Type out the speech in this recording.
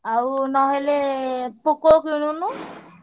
ଆଉ ନହେଲେ Poco କିଣୁନୁ?